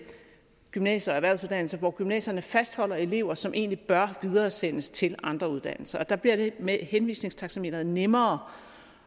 gymnasier og erhvervsuddannelser hvor gymnasierne fastholder elever som egentlig bør videresendes til andre uddannelser der bliver det med henvisningstaxameteret nemmere